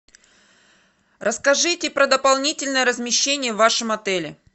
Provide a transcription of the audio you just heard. расскажите про дополнительное размещение в вашем отеле